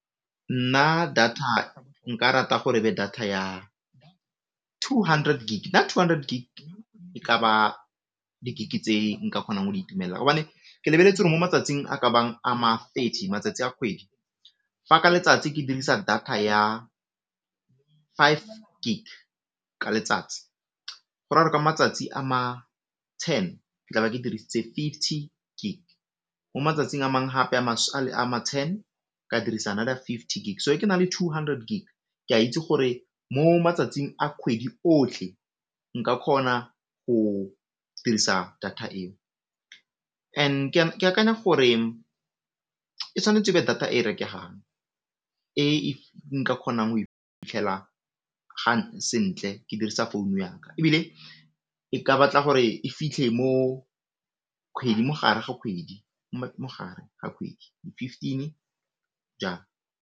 Nna data nka rata go data ya two hundred Gig, ka two hundred Gig e ka ba di Gig tse nka kgonang go di itumella gobane ke lebeletse gore mo matsatsing a ka bang a ma thirty matsatsi a kgwedi, fa ka letsatsi ke dirisa data ya five Gig ka letsatsi gora gore ka matsatsi a ma ten tlabe ke dirisitse fifty Gig, mo matsatsing a mang gape a ma ten ka dirisa another fifty Gig, so ge ke na le two hundred Gig ke a itse gore mo matsatsing a kgwedi otlhe nka kgona go dirisa data eo. And ke akanya gore e tshwanetse e be data e rekegang e nka kgonang go e fitlhela sentle ke dirisa founu yaka ebile e ka batla gore e fitlhe mogare ga kgwedi, fifteen jalo.